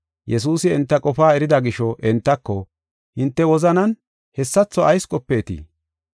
Yesuusi enta qofaa erida gisho entako, “Hinte wozanan hessatho ayis qopeetii?